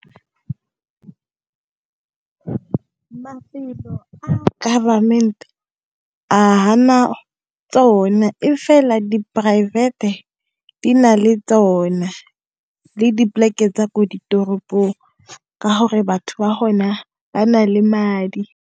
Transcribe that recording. Mafelo a government tsone e fela di-private-e di na le tsona le dipoleke tsa ko di toropong ka gore batho ba hona ba na le madi.